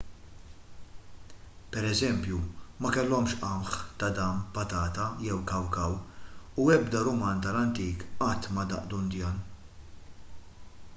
pereżempju ma kellhomx qamħ tadam patata jew kawkaw u ebda ruman tal-antik qatt ma daq dundjan